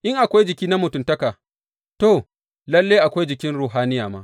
In akwai jiki na mutuntaka, to, lalle akwai jikin ruhaniya ma.